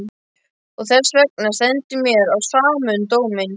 Og þessvegna stendur mér á sama um dóminn.